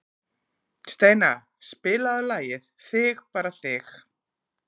Steina, spilaðu lagið „Þig bara þig“.